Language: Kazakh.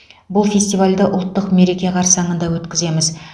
бұл фестивальді ұлттық мереке қарсаңында өткіземіз